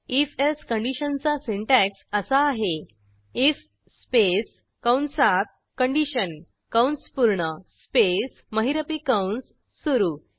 if else कंडिशनचा syntax असा आहे आयएफ स्पेस कंसात कंडिशन कंस पूर्ण स्पेस महिरपी कंस सुरू